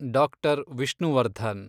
doctor Vishnuvardhan